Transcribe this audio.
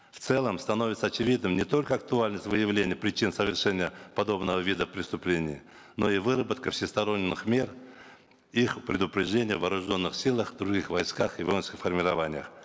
в целом становится очевидным не только актуальность выявления причин совершения подобного вида преступлений но и выработка всесторонних мер их предупреждения в вооруженных силах других войсках и воинских формированиях